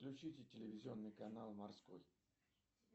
включите телевизионный канал морской